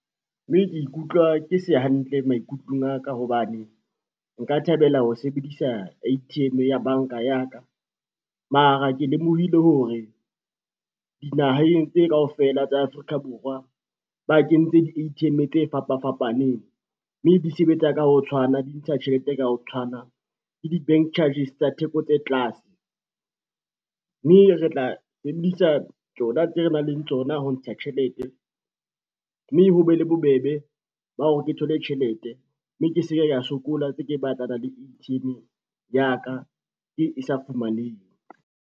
Mme ke ikutlwa ke se hantle maikutlong a ka hobane nka thabela ho sebedisa A_T_M ya banka ya ka, mara ke lemohile hore dinaheng tse kaofela tsa Afrika Borwa ba kentse di-A_T_M tse fapa fapaneng, mme di sebetsa ka ho tshwana, di ntsha tjhelete ka ho tshwana le di-bank charges tsa theko tse tlase. Mme re tla emisa tsona tse re nang le tsona ho ntsha tjhelete, mme ho be le bobebe ba hore ke thole tjhelete mme ke se ke ka sokola tse ke batlana le A_T_M ya ka e e sa fumaneng.